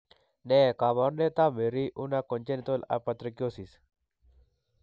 Ne kaabarunetap Marie Unna congenital hypotrichosis?